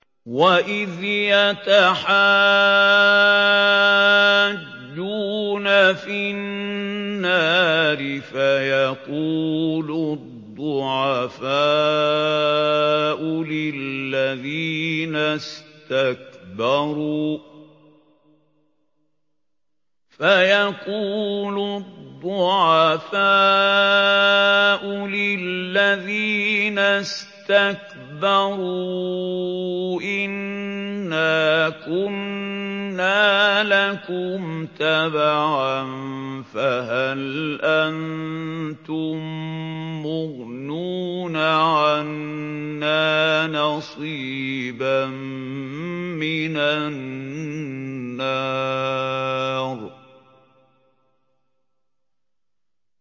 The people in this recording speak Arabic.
وَإِذْ يَتَحَاجُّونَ فِي النَّارِ فَيَقُولُ الضُّعَفَاءُ لِلَّذِينَ اسْتَكْبَرُوا إِنَّا كُنَّا لَكُمْ تَبَعًا فَهَلْ أَنتُم مُّغْنُونَ عَنَّا نَصِيبًا مِّنَ النَّارِ